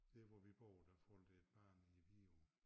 Der hvor vi bor der faldt et barn i æ Vidå